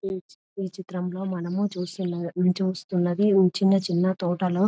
ఇక్కడ చిత్రం లో మనము చూస్తూ ఉన్నది చిన్న చిన్న తోటలు